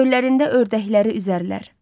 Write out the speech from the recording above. Göllərində ördəkləri üzərlər.